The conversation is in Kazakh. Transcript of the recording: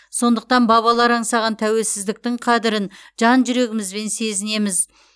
сондықтан бабалар аңсаған тәуелсіздіктің қадірін жан жүрегімізбен сезінеміз